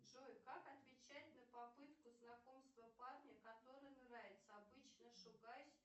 джой как отвечать на попытку знакомства парня который нравится обычно шугаюсь